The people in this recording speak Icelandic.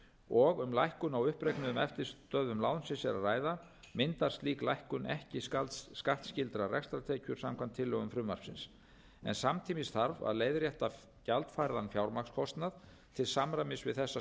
og um lækkun á uppreiknuðum eftirstöðvum lánsins er að ræða myndast slík lækkun ekki skattskyldar rekstrartekjur samkvæmt tillögum frumvarpsins en samtímis þarf að leiðrétta gjaldfærðan fjármagnskostnað til samræmis við þessa